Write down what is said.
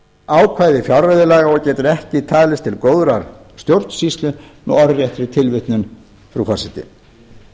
ákvæði fjárreiðulaga og getur ekki talist til góðrar stjórnsýslu með orðréttri tilvitnun frú forseti